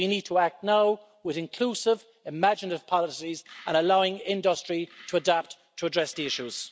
We need to act now with inclusive, imaginative policies, allowing industry to adapt to address the issues.